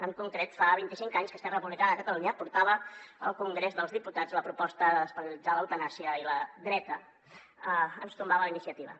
en concret fa vint i cinc anys que esquerra republicana de catalunya portava al congrés dels diputats la proposta de despenalitzar l’eutanàsia i la dreta ens tombava la iniciativa